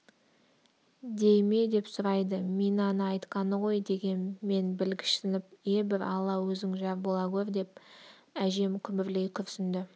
дей ме деп сұрайды минаны айтқаны ғой дегем мен білгішсініп е бір алла өзің жар бола гөр деп әжем күбірлей күрсінді